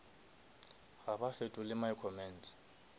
ga ba fetole my comments